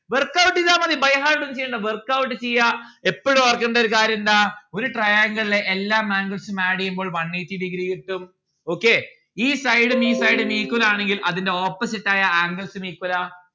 workout എയ്താ മതി byheart ഒന്നും ചെയ്യണ്ട workout ചെയ്യാ എപ്പോളും ഓർക്കണ്ടേ ഒരു കാര്യം എന്താ ഒരു triangle ലെ എല്ലാ angles ഉം add എയ്യുമ്പോൾ one eighty degree കിട്ടും okay ഈ side ഉം ഈ side ഉം equal ആണെങ്കിൽ അതിന്റെ opposite ആയ angles ഉം equal ആ